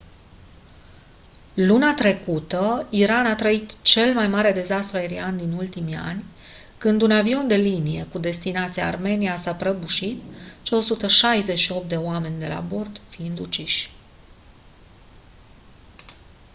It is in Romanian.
luna trecută iran a trăit cel mai mare dezastru aerian din ultimii ani când un avion de linie cu destinația armenia s-a prăbușit cei 168 de oameni la bord fiind uciși